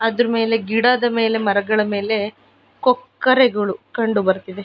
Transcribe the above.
ಅದ್ರಮೇಲೆ ಗಿಡದ ಮೇಲೆ ಮರಗಳ ಮೇಲೆ ಕೊಕ್ಕರೆಗಳು ಕಂಡುಬರತ್ತಿದೆ.